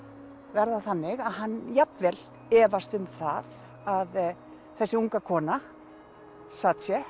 verða þannig að hann jafnvel efast um það að þessi unga kona